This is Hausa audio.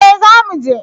Eh za mu je